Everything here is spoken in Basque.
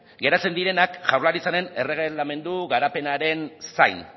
geratzen direnak jaurlaritzaren erregelamendu garapenaren zain